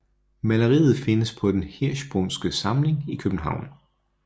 Maleriet findes på Den Hirschsprungske Samling i København